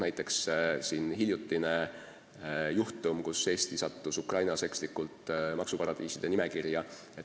Näiteks hiljutine juhtum, kus Eesti sattus Ukrainas ekslikult maksuparadiiside nimekirja.